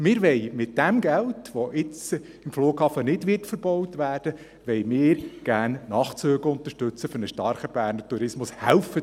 Wir wollen mit dem Geld, welches jetzt für den Flughafen nicht verbaut wird, gerne Nachtzüge für einen starken Berner Tourismus unterstützen.